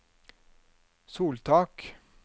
soltak